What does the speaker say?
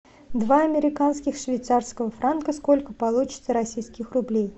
два американских швейцарского франка сколько получится российских рублей